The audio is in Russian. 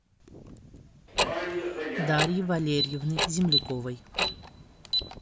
дарьи валерьевны земляковой